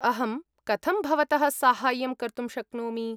अहं कथं भवतः साहाय्यं कर्तुं शक्नोमि?